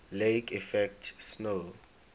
lake effect snow